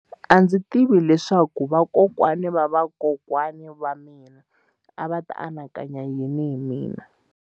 A ndzi tivi leswaku vakokwana-va-vakokwana va mina a va ta anakanya yini hi mina.